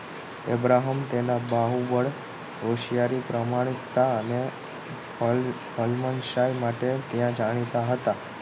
Abraham તેના બાહુબળ હોશિયારી પ્રમાણિકતા અને હલ હલમનશાહી માટે જાણીતા હતા